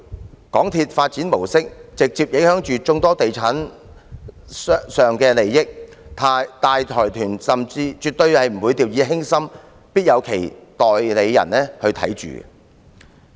港鐵公司的發展模式直接影響眾多地產商的利益，大財團絕不會掉以輕心，必有其代理人看管。